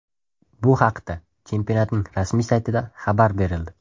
Bu haqda chempionatning rasmiy saytida xabar berildi .